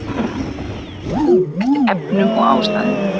Bætum við eftir efnum og ástæðum